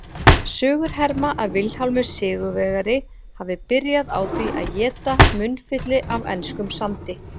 Sögur herma að Vilhjálmur sigurvegari hafi byrjað á því að éta munnfylli af enskum sandi.